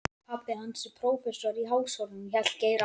Pabbi hans er prófessor í Háskólanum hélt Geir áfram.